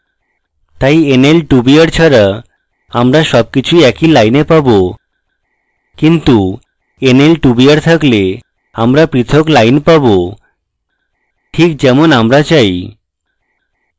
তাই nl2br ছাড়া আমরা সবকিছুই এক lines পাবোএবং nl2br থাকলে আমরা পৃথক lines পাবো ঠিক যেমন আমরা চাই